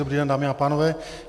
Dobrý den, dámy a pánové.